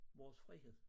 Vores frihed